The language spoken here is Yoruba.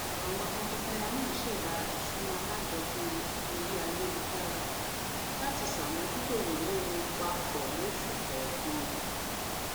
àwọn tọkọtaya náà ṣèdá ìṣúná alájọpín orí ayélujára latí sàmójútó ìnáwó wọn papọ̀ losù kọọkan